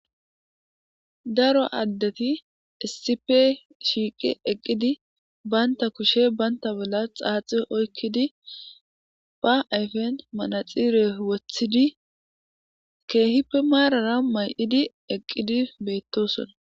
daro addeti issipe shiiqe eqqidi baynta kushe banta bolla xaaxi oykkidi ba ayfen manaxire wothidi keehipe maarara may7idi eqqidi beettosona